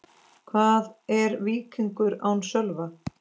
Hvað er Víkingur án Sölva?